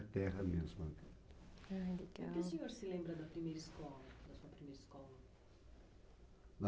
terra mesmo, né. Legal. O que o senhor se lembra da primeira escola, da sua primeira escola?